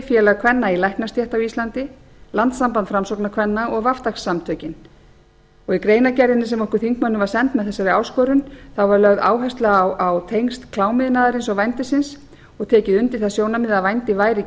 félag kvenna í læknastétt á íslandi landssamband framsóknarkvenna og samtökin í greinargerðinni sem okkur þingmönnum var send með þessari áskorun var lögð áhersla á tengsl klámiðnaðarins og vændisins og tekið undir það sjónarmið að vændið væri